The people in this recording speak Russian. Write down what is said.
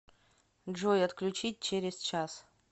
джой отключить через час